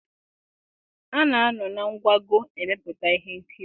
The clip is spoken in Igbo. A na-anọ na nkwago emepụta ihe nkiri.